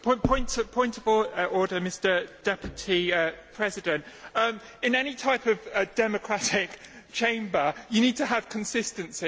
Mr President, in any type of democratic chamber you need to have consistency.